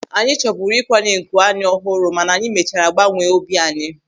Anyị chọburu ịkwanye nku anya ọhụrụ mana anyị mechara gbanwee obi anyị.